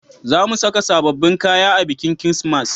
Za mu saka sabobbin kaya a bikin kirismas